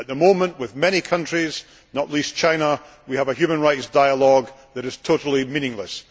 At the moment, with many countries, not least China, we have a human rights dialogue that is totally meaningless.